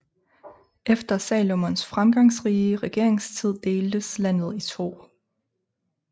Efter Salomos fremgangsrige regeringstid deltes landet i to